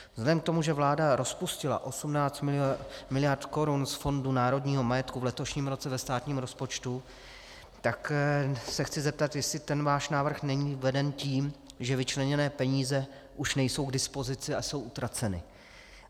Vzhledem k tomu, že vláda rozpustila 18 miliard korun z Fondu národního majetku v letošním roce ve státním rozpočtu, tak se chci zeptat, jestli ten váš návrh není veden tím, že vyčleněné peníze už nejsou k dispozici a jsou utraceny.